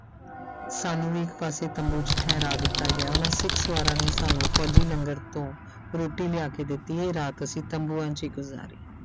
ਸਾਨੂੰ ਵੀ ਇੱਕ ਪਾਸੇ ਤੰਬੂ 'ਚ ਠਹਿਰਾ ਦਿੱਤਾ ਗਿਆ ਉਹਨਾਂ ਸਿੱਖ ਸਵਾਰਾਂ ਨੇ ਸਾਨੂੰ ਫ਼ੌਜ਼ੀ ਲੰਗਰ ਤੋਂ ਰੋਟੀ ਲਿਆ ਕੇ ਦਿੱਤੀ ਇਹ ਰਾਤ ਅਸੀਂ ਤੰਬੂਆਂ 'ਚ ਹੀ ਗੁਜ਼ਾਰੀ।